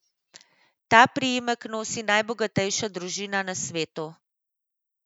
Ta priimek nosi najbogatejša družina na svetu.